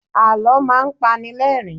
Àlọ́ máa ń panilerin